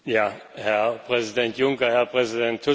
Herr Präsident Juncker, Herr Präsident Tusk!